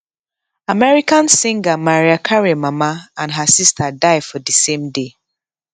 american singer mariah carey mama and her sister die for di same day